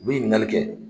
U bi ɲininkali kɛ